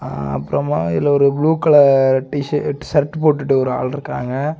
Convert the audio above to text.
ஆ அப்புறமா இதுல ஒரு blue colour T shirt shirt போட்டு ஒரு ஆள் நிக்கிறாங்க.